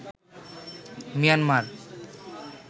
Myanmar